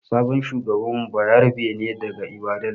sabon shugaban mu bayarabe ne daga Ibadan.